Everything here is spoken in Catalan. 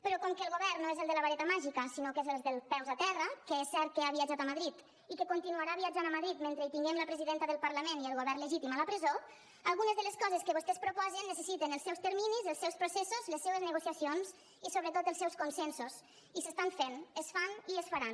però com que el govern no és el de la vareta màgica sinó que és el dels peus a terra que és cert que ha viatjat a madrid i que continuarà viatjant a madrid mentre hi tinguem la presidenta del parlament i el govern legítim a la presó algunes de les coses que vostès proposen necessiten els seus terminis els seus processos les seues negociacions i sobretot els seus consensos i s’estan fent es fan i es faran